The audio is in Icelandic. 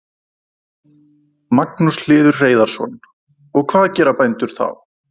Magnús Hlynur Hreiðarsson: Og hvað gera bændur þá?